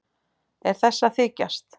Er þessi að þykjast?